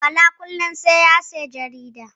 Bala kullin sai ya siyi jarida